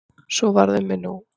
Svo varð um mig nú.